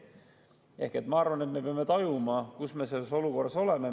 Ehk ma arvan, et me peame tajuma, millises olukorras me oleme.